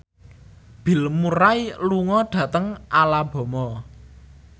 Bill Murray lunga dhateng Alabama